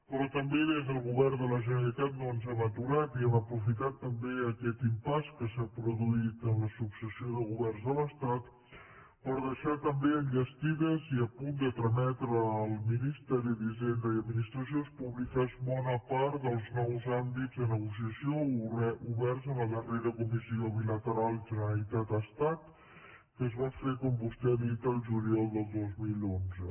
però també des del govern de la generalitat no ens hem aturat i hem aprofitat també aquest impasse que s’ha produït en la successió de governs de l’estat per deixar també enllestida i a punt de trametre al ministeri d’hisenda i administracions públiques bona part dels nous àmbits de negociació oberts en la darrera comissió bilateral generalitat estat que es va fer com vostè ha dit el juliol del dos mil onze